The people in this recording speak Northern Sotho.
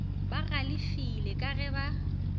ba galefela ka ge ba